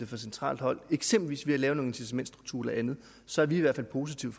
fra centralt hold eksempelvis ved at lave nogle incitamentstrukturer eller andet så er vi altså positive